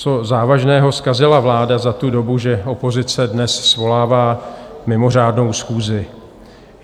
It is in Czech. Co závažného zkazila vláda za tu dobu, že opozice dnes svolává mimořádnou schůzi?